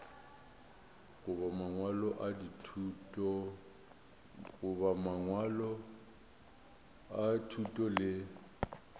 goba mangwalo a thuto le